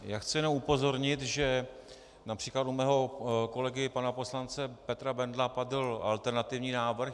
Já chci jenom upozornit, že například u mého kolegy pana poslance Petra Bendla padl alternativní návrh.